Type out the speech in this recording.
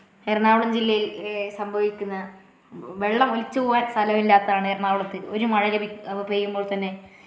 എറണാകുളം ജില്ലയില് ഏ സംഭവിക്കുന്ന വെള്ളമൊലിച്ചു പോവാൻ സ്ഥലമില്ലാത്തതാണ് എറണാകുളത്തു ഒരു മഴ ലഭിക്കു ഒരു മഴ പെയ്യുമ്പോൾ തന്നെ.